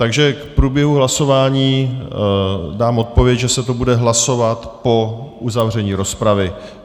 Takže k průběhu hlasování dám odpověď, že se to bude hlasovat po uzavření rozpravy.